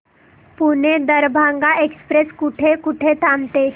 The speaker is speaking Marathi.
पुणे दरभांगा एक्स्प्रेस कुठे कुठे थांबते